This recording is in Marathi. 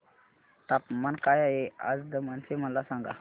तापमान काय आहे आज दमण चे मला सांगा